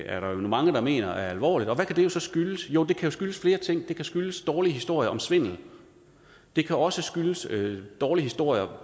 er der jo mange der mener er alvorligt og hvad kan det så skyldes jo det kan jo skyldes flere ting det kan skyldes dårlige historier om svindel det kan også skyldes dårlige historier